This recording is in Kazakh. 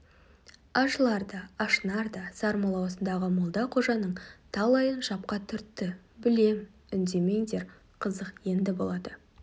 ашылар да ашынар да сармолла осындағы молда қожаның талайын шапқа түртті білем үндемеңдер қызық енді болады